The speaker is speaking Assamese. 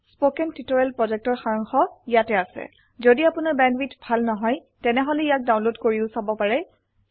স্পোকেন টিউটোৰিয়েল প্ৰকল্পৰ সাৰাংশ ইয়াত আছে যদি আপোনাৰ বেণ্ডৱিডথ ভাল নহয় তেনেহলে ইয়াক ডাউনলোড কৰি চাব পাৰে